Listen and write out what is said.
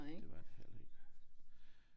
Det var det heller ikke